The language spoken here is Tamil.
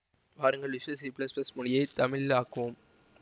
வாருங்கள் விசுவல் சி ப்ளஸ் ப்ளஸ் மொழியை தமிழில் ஆக்குவோம்